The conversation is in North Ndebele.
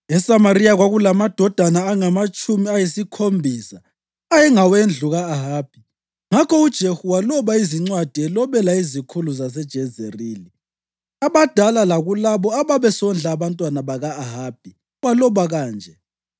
ESamariya kwakulamadodana angamatshumi ayisikhombisa ayengawendlu ka-Ahabi. Ngakho uJehu waloba izincwadi elobela izikhulu zaseJezerili, abadala lakulabo ababesondla abantwana baka-Ahabi. Waloba kanje: